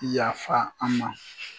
Yafa an' ma!